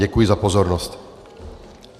Děkuji za pozornost.